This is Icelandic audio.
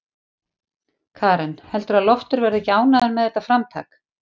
Karen: Heldurðu að Loftur verði ekki ánægður með þetta framtak?